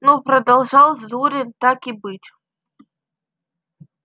ну продолжал зурин так и быть